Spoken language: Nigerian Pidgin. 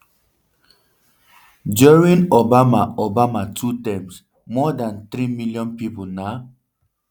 during obama obama two terms more dan three million pipo na